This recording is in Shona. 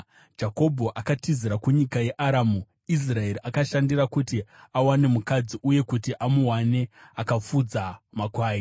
Jakobho akatizira kunyika yeAramu; Israeri akashandira kuti awane mukadzi, uye kuti amuwane akafudza makwai.